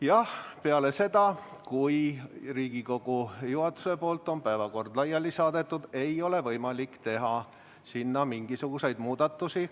Jah, peale seda, kui Riigikogu juhatus on päevakorra laiali saatnud, ei ole võimalik teha sinna mingisuguseid muudatusi.